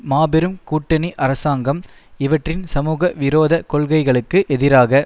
மாபெரும் கூட்டணி அரசாங்கம் இவற்றின் சமூக விரோத கொள்கைகளுக்கு எதிராக